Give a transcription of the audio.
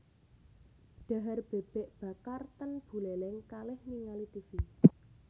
Dhahar bebek bakar ten Buleleng kalih ningali tivi